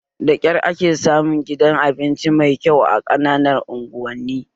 Da kyar ake samun gidan abinci mai kyau a ƙananan unguwanni